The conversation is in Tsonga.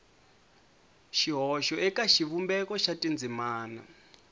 xihoxo eka xivumbeko xa tindzimana